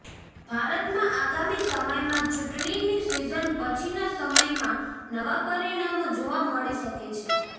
ભારતમાં આગામી સમયમાં ચૂંટણીની સિઝન પછીના સમયમાં નવા પરિમાણો જોવા મળી શકે છે